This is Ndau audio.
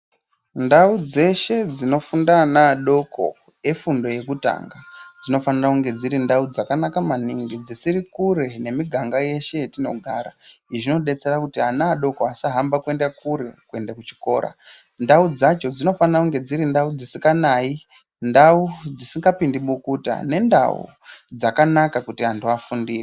Ndau dzeshe dzinofunda ana adoko efundo yekutanga dzinofanira kunge dziri ndau dzakanaka maningi dzisiri kure nemiganga yeshe yatinogara. Izvi zvinodetsera kuti ana adoko asahamba kuenda kure kuenda kuchikora ndau dzacho dzinofanira kunge dziri ndau dzisinganai ndau dzisina mabukuta nendau dzakanaka kuti antu afundire.